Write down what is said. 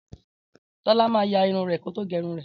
Tólá ma yarun rè kótó gérun rè